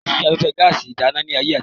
Kosi afẹ́fẹ́ gaàsì ìdáná ni ayé àtijọ́